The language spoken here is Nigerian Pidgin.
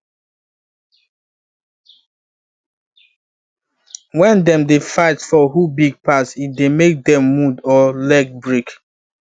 when them dey fight for who big pass e dey make them wound or leg break